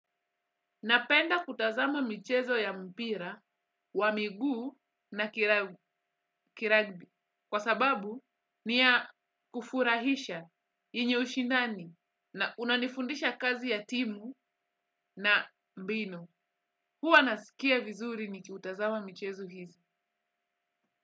Napenda kutazama michezo ya mpira wa miguu na kiragbi kwa sababu ni ya kufurahisha yenye ushindani na unanifundisha kazi ya timu na mbinu. Huwa nasikia vizuri nikitazama michezo hii.